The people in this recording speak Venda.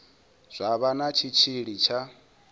zwa vha na tshitshili tsha